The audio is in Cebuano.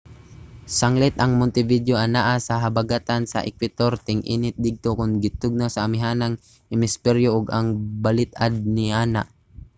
sanglit ang montevideo anaa sa habagatan sa ekwetor ting-init didto kon tingtugnaw sa amihanang hemisperyo ug ang balit-ad niana